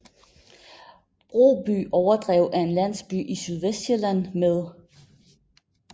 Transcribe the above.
Broby Overdrev er en landsby i Sydvestsjælland med